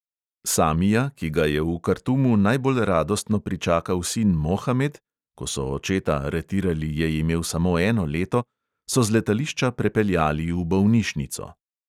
Samija, ki ga je v kartumu najbolj radostno pričakal sin mohamed (ko so očeta aretirali, je imel samo eno leto), so z letališča prepeljali v bolnišnico.